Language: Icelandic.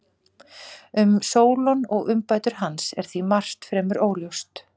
Um Sólon og umbætur hans er því margt fremur óljóst.